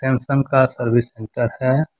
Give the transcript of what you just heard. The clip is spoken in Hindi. सैमसंग का सर्विस सेंटर करते हैं।